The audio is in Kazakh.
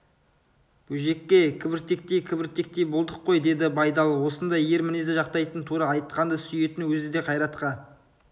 бөжеке кібіртіктей-кібіртіктей болдық қой деді байдалы осындай ер мінезді жақтайтын тура айтқанды сүйетін өзі де қайратқа